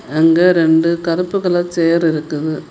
அங்க ரெண்டு கருப்பு கலர் சேர் இருக்குது.